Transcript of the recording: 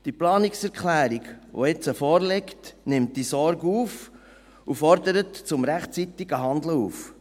Die Planungserklärung, die jetzt vorliegt, nimmt diese Sorge auf und fordert zum rechtzeitigen Handeln auf.